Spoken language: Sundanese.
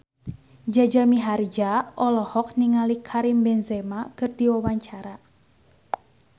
Jaja Mihardja olohok ningali Karim Benzema keur diwawancara